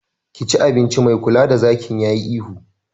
Ka ci abinci! mai kula da zakin yayi ihu